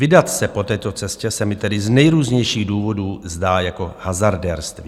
Vydat se po této cestě se mi tedy z nejrůznějších důvodů zdá jako hazardérství.